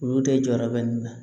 Olu de jɔyɔrɔ bɛ nin na